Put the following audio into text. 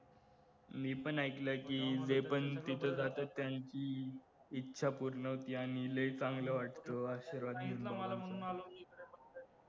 मी पण ऐकलंय कि जे पण तिथं जातात त्यांची इच्छा पूर्ण होते आणि लय चांगलं वाटत आशीर्वाद घेतल्यावर